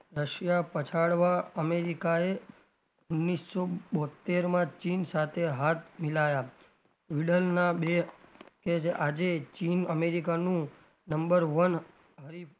Russia પછાડવા અમેરિકાએ ઓગણીસો બોત્તેરમાં ચીન સાથે હાથ મિલાયા બે કે આજે ચીન અમેરિકાનું number one હરીફ,